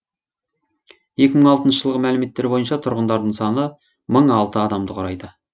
екі мың алтыншы жылғы мәліметтер бойынша тұрғындарының саны мың алты адамды құрайды